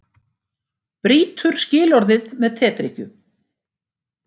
Brýtur skilorðið með tedrykkju